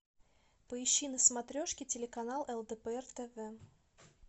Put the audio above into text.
поищи на смотрешке телеканал лдпр тв